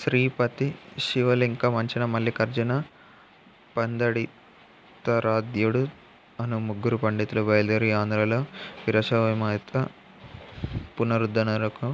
శ్రీపతి శివలెంక మంచన మల్లికార్జున పందడితారాధ్యుడు అను ముగ్గురు పండితులు బయలుదేరి ఆంధ్రలో వీరశైవమత పునరుద్ధరణకు